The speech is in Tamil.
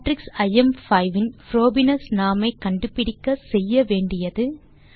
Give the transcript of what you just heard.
மேட்ரிக்ஸ் ஐஎம்5 இன் புரோபீனியஸ் நார்ம் ஐ கண்டுபிடிக்க செய்ய வேண்டியது